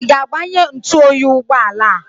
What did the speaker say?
Ị ga-agbanye ntụoyi ụgbọala a?